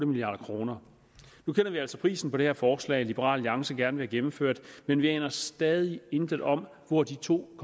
milliard kroner nu kender vi altså prisen på det her forslag liberal alliance gerne vil have gennemført men vi aner stadig intet om hvor de to